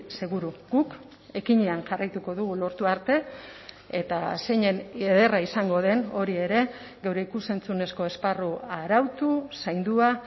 seguru guk ekinean jarraituko dugu lortu arte eta zeinen ederra izango den hori ere geure ikus entzunezko esparru arautu zaindua